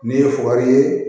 Ni ye faga ye